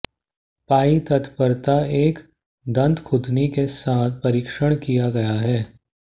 पाई तत्परता एक दन्तखुदनी के साथ परीक्षण किया गया है